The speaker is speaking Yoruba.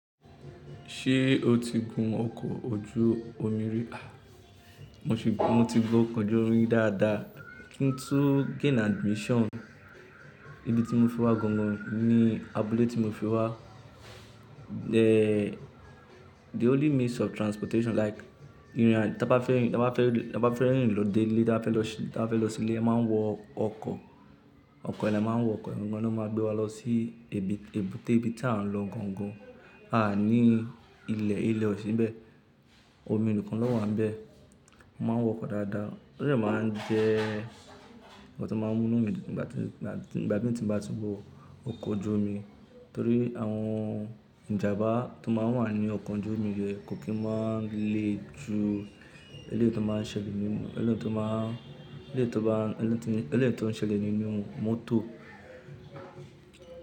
Ṣé o ti gun ọkọ̀ ojú omi rí? A! Mo ti gun ọkọ̀ ojú omi dáadáa kí n tó gain admission. Ibi tí mo fi wá gangan ni abúlé tí mo fi wá. The, the only means of transportation like ìrìn à ta ba fẹ́ rìn, taba fẹ́ rìn lọ dé ilé, taba fẹ́ lọ sí, ta ba fẹ́ lọ sí ilé a máa ń wọ ọkọ̀, ọkọ̀ i la máa ń wọ ọkọ̀ yi gangan ló máa gbé wa lọ sí ibi, èbúté ibi tí à ń lọ gangan. A ní ilẹ̀, ilẹ̀ ò sí nbẹ́ẹ̀, omi nìkan ló wà ń bẹ. A máa ń wọ ọkọ̀ dáadáa. Ọ̀dẹ́ máa ń jẹ́ ohun tó máa ń mú'nù nígbà tí, nígbà tí, nígbà mi tí mo bá tun wọ ọkọ̀ ojú omi torí àwọn ìjàmbá tó máa ń wà nínu ọkọ̀ ojú omi yẹn kò kí n máa ń le ju èléyìí tó máa ń ṣẹlẹ̀ nínú, èléyìí tó máa ń, èléyìí tó ba, èléyìí tó, èléyìí tó ń ṣẹlẹ̀ nínú mọ́tò.